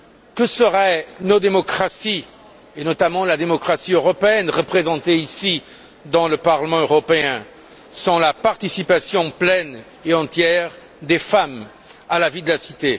Que seraient nos démocraties, et notamment la démocratie européenne représentée ici dans le Parlement européen, sans la participation pleine et entière des femmes à la vie de la cité?